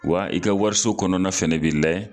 Wa i ka wariso kɔnɔna fɛnɛ bi layɛ